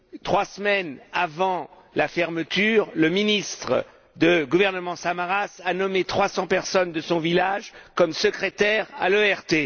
Trois semaines avant la fermeture, le ministre du gouvernement Samaras a nommé 300 personnes de son village comme secrétaires à l'ERT.